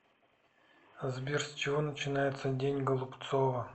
сбер с чего начинается день голубцова